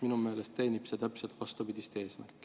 Minu meelest teenib see täpselt vastupidist eesmärki.